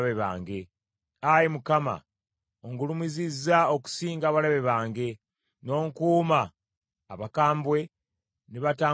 Ayi Mukama , ongulumizizza okusinga abalabe bange, n’onkuuma abakambwe ne batankwatako.